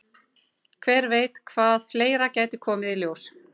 Hver veit hvað fleira gæti komið í ljós?